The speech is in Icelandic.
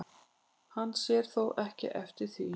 Hann sér þó ekki eftir því